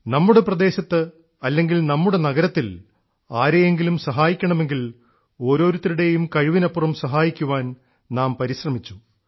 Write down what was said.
നമ്മുടെ പ്രദേശത്ത് അല്ലെങ്കിൽ നമ്മുടെ നഗരത്തിൽ ആരെയെങ്കിലും സഹായിക്കണമെങ്കിൽ ഓരോരുത്തരുടേയും കഴിവിനപ്പുറം സഹായിക്കാൻ നാം പരിശ്രമിച്ചു